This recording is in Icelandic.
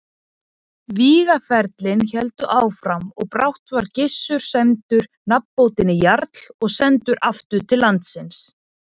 Vígaferlin héldu áfram og brátt var Gissur sæmdur nafnbótinni jarl og sendur aftur til landsins.